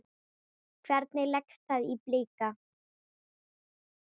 Hvernig leggst það í Blika?